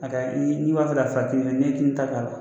A ka kɛ ni n'i b'a fɛ ka ta k'a la